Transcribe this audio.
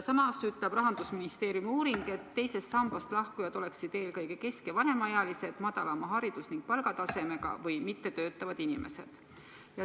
Samas ütleb Rahandusministeeriumi uuring, et teisest sambast lahkujad oleksid eelkõige kesk- ja vanemaealised, madalama haridus- ja palgatasemega või mittetöötavad inimesed.